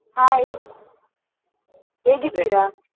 Hai ಹೇಗಿದ್ದೀರಾ?